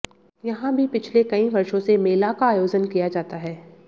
यहां भी पिछले कई वर्षों से मेला का आयोजन किया जाता है